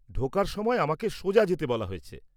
ঢোকার সময় আমাকে সোজা যেতে বলা হয়েছে।